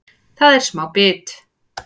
Það er smá bit